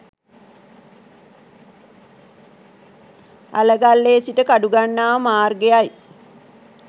අලගල්ලේ සිට කඩුගන්නාව මාර්ගයයි.